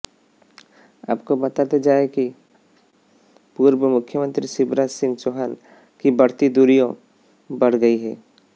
आपको बताते जाए कि पूर्व मुख्यमंत्री शिवराज सिंह चौहान की बढ़ती दूरियों बढ गई है